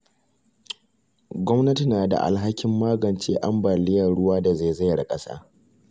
Gwamnati na da alhakin magance ambaliyar ruwa da zaizayar ƙasa.